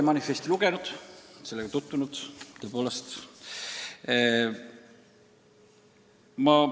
Ma olen teie manifesti lugenud, olen sellega tõepoolest tutvunud.